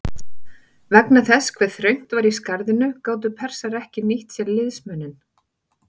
Vegna þess hve þröngt var í skarðinu gátu Persar ekki nýtt sér liðsmuninn.